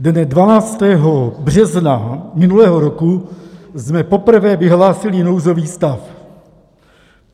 Dne 12. března minulého roku jsme poprvé vyhlásili nouzový stav.